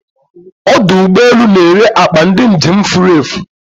Odụ ụgbọ elù n'ere akpa ndị njem furefu